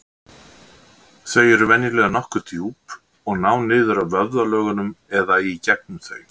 Þau eru venjulega nokkuð djúp og ná niður að vöðvalögunum eða í gegnum þau.